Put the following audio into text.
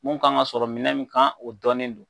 Mun k'an ka sɔrɔ minɛn mun kan , o dɔnnen don.